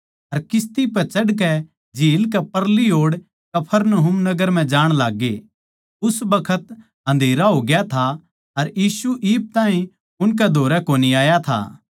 अर किस्ती पै चढ़कै झील कै परली ओड़ कफरनहूम नगर म्ह जाण लाग्गे उस बखत अन्धेरा होग्या था अर यीशु इब ताहीं उनकै धोरै कोनी आया था